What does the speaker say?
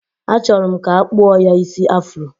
Achọrọ m ka a kpụọ ya isi afro.